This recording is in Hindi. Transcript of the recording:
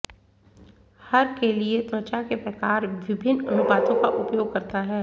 हर के लिए त्वचा के प्रकार विभिन्न अनुपातों का उपयोग करता है